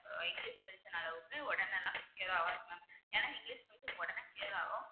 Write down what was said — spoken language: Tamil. அஹ் இங்கிலிஷ் medicine னால வந்து உடனேலாம் clear ஆவாது mam ஏன்னா இங்கிலிஷ் medicine உடனே clear ஆகும்